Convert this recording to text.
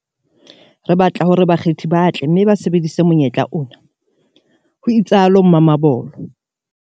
Re batla hore bakgethi ba tle mme ba sebedise monyetla ona, ho itsalo Mamabolo.